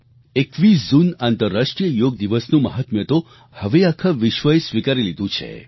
21 જૂન આંતરરાષ્ટ્રીય યોગ દિવસનું મહાત્મ્ય તો હવે આખા વિશ્વએ સ્વિકારી લીધું છે